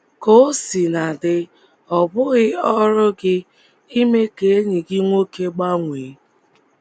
Ka o sina dị, ọ bụghị ọrụ gị ime ka enyi gị nwoke gbanwee.